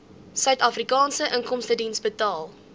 suidafrikaanse inkomstediens betaal